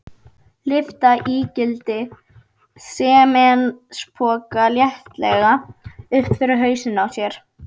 Lyfta ígildi sementspoka léttilega upp fyrir hausinn á sér.